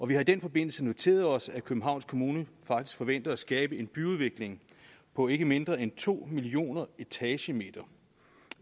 vi har i den forbindelse noteret os at københavns kommune faktisk forventer at skabe en byudvikling på ikke mindre end to millioner etagemeter